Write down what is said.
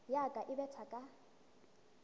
ya ka e betha ka